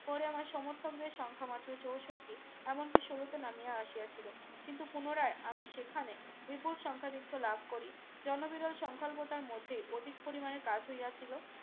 কোরে আমার সমর্থকদের সংখ্যা মাত্র চৌষট্টি এমন কি শুন্যতে নামিয়ে আসিয়া ছিল কিন্তু পুনরায় আমি সেখানে বিপুল সংখ্যাদিখ লাভ করি জন বিরল সঙ্কল্পতার মধ্যে অধিক পরিমানে কাজ হইয়া ছিল